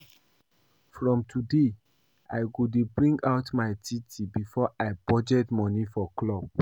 From today I go dey bring out my tithe before I budget money for club